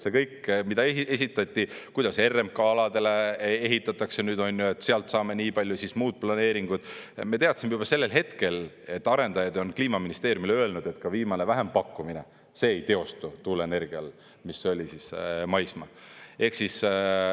See kõik, mida esitati, kuidas RMK aladele ehitatakse, sealt saame nii palju ja siis muud planeeringud – me teadsime juba sellel hetkel, et arendajad on Kliimaministeeriumile öelnud, et ka viimane vähempakkumine ei teostu tuuleenergial, mis oli maismaal.